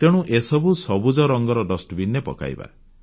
ତେଣୁ ଏସବୁ ସବୁଜ ରଙ୍ଗର ଡଷ୍ଟବିନ୍ ରେ ପକାଇବା